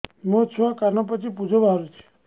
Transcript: ମୋ ଛୁଆ କାନ ପାଚି ପୂଜ ବାହାରୁଚି